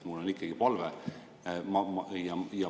Mul on ikkagi palve.